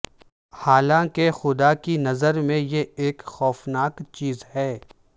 حالانکہ خدا کی نظر میں یہ ایک خوفناک چیز ہے